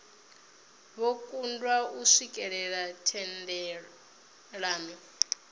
vho kundwa u swikelela thendelano